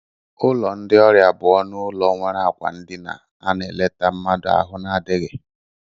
Ụlọ ndị ọrịa bụ ọnụ ụlọ nwere akwa ndina ana eleta mmadụ ahụ na-adịghi.